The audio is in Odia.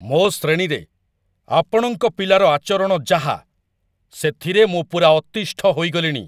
ମୋ ଶ୍ରେଣୀରେ ଆପଣଙ୍କ ପିଲାର ଆଚରଣ ଯାହା, ସେଥିରେ ମୁଁ ପୂରା ଅତିଷ୍ଠ ହେଇଗଲିଣି!